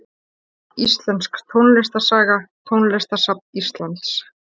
Íslensk tónlistarsaga Tónlistarsafn Íslands.